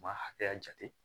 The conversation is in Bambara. U b'a hakɛya jate